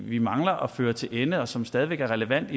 vi mangler at føre til ende og som stadig væk er relevant